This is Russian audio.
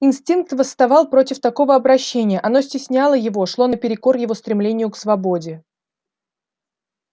инстинкт восставал против такого обращения оно стесняло его шло наперекор его стремлению к свободе